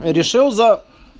решил за